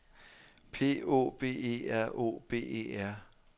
P Å B E R Å B E R